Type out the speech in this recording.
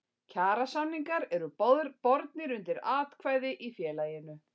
Kjarasamningar eru bornir undir atkvæði í félaginu.